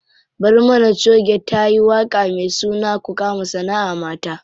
Barmana choge tayi waƙa me suna ku kama sanaʼa mata.